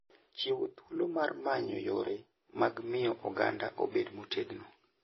Chiwo thuolo mar manyo yore mag miyo oganda obed motegno.